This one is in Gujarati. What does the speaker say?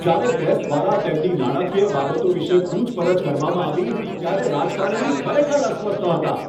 જ્યારે પ્રેસ દ્વારા તેમની નાણાકીય બાબતો વિશે પૂછપરછ કરવામાં આવી ત્યારે રાજકારણી ખરેખર અસ્વસ્થ હતા.